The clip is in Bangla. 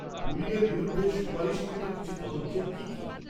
-বুলিং-এর বিরুদ্ধে সুপারিশকৃত কিছু পদক্ষেপ কী কী?